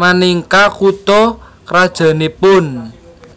minangka kutha krajannipun